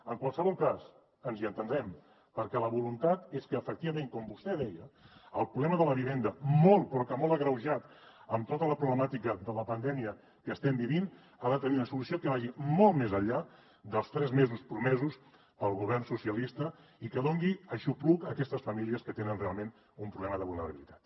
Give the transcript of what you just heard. en qualsevol cas ens hi entendrem perquè la voluntat és que efectivament com vostè deia el problema de la vivenda molt però que molt agreujat amb tota la problemàtica de la pandèmia que estem vivint ha de tenir una solució que vagi molt més enllà dels tres mesos promesos pel govern socialista i que doni aixopluc a aquestes famílies que tenen realment un problema de vulnerabilitat